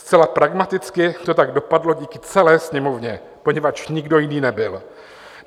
Zcela pragmaticky to tak dopadlo díky celé Sněmovně, poněvadž nikdo jiný nebyl.